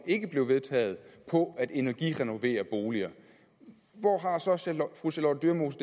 ikke blev vedtaget på at energirenovere boliger hvor har fru charlotte dyremose